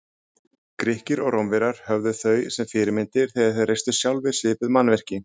Grikkir og Rómverjar höfðu þau sem fyrirmyndir þegar þeir reistu sjálfir svipuð mannvirki.